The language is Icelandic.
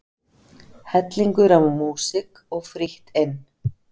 Hellingur af músík og frítt inn